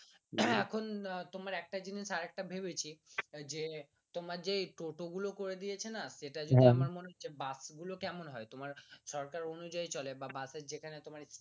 এখন তোমার একটা জিনিস আর একটা ভেবেছি যে তোমার যে টোটোগুলো করে দিয়েছে না সেটা যদি আমরা মনে হচ্ছে বাস গুলো কেমন হয় তোমার সরকার অনুযায়ী চলে